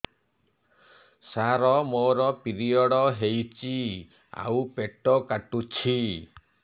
ସାର ମୋର ପିରିଅଡ଼ ହେଇଚି ଆଉ ପେଟ କାଟୁଛି